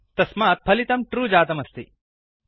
तस्मात् फलितं ट्रू जातमस्ति